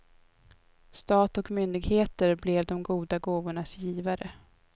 Stat och myndigheter blev de goda gåvornas givare.